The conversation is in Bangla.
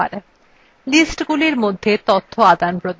sheetsগুলির মধ্যে তথ্য আদানপ্রদান